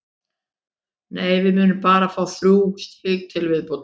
Nei, við munum bara fá þrjú stig til viðbótar.